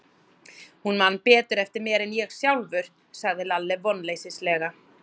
Hún man betur eftir mér en ég sjálfur, sagði Lalli vonleysislega.